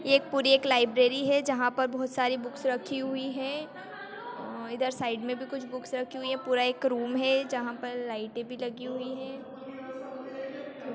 यह पूरी एक लाइब्रेरी है जहाँ पर बहुत सारी बुक्स रखी हुई है इधर साइड में भी कुछ बुक्स रखी हुई है पुरा एक रूम है जहाँ पर लाइटे भी लगी हुई है।